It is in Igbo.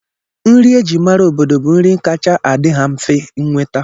Nri e ji mara obodo bụ nri kacha adị ha mfe nnweta